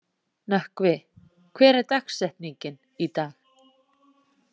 Nökkvi, hver er dagsetningin í dag?